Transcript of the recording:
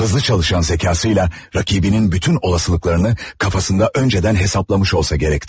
Hızlı çalışan zekasıyla rəqibinin bütün olasılıklarını kafasında öncədən hesaplamış olsa gərəkti.